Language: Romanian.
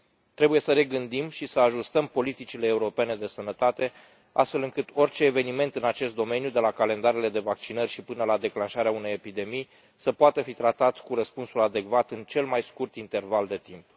Trebuie să regândim și să ajustăm politicile europene de sănătate, astfel încât orice eveniment în acest domeniu, de la calendarele de vaccinări și până la declanșarea unei epidemii, să poată fi tratat cu răspunsul adecvat în cel mai scurt interval de timp.